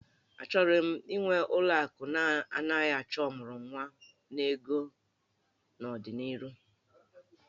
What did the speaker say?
Achọrọ m ịnwe ụlọ akụ na-anaghị achọ ọmụrụnwa n'ego n'ọdịnihu